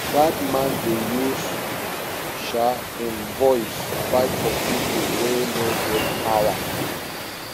dat man dey use um im voice fight for pipo wey no get power